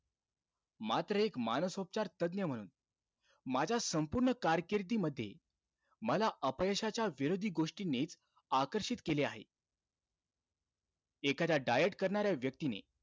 मात्र एक मानसोपचार तज्ञ म्हणून, माझ्या संपूर्ण कारकिर्दीमध्ये, मला अपयशाच्या विरोधी गोष्टींनीच आकर्षित केले आहे. एखाद्या diet करणाऱ्या व्यक्तीने,